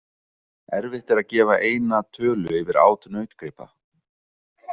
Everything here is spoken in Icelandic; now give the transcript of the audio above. Erfitt er að gefa eina tölu yfir át nautgripa.